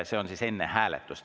See on siis enne hääletust.